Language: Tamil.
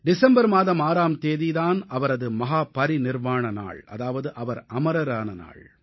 டிசம்பர் மாதம் 6ஆம் தேதி தான் அவரது மஹா பரிநிர்வாண நாள் அதாவது அவர் அமரர் ஆன நாள்